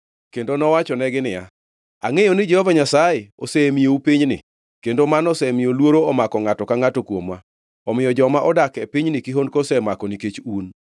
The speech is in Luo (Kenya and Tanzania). kendo mowachonegi niya, “Angʼeyo ni Jehova Nyasaye osemiyou pinyni kendo mano osemiyo luoro omako ngʼato ka ngʼato kuomwa, omiyo joma odak e pinyni kihondko osemako nikech un.